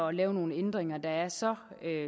og lave nogle ændringer der er så